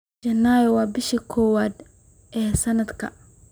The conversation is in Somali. Janaayo waa bisha koowaad ee sanadka.